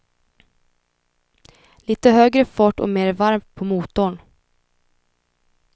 Litet högre fart och mer varv på motorn.